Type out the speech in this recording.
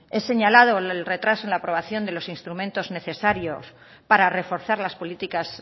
es señalado el retraso en la aprobación de los instrumentos necesarios para reforzar las políticas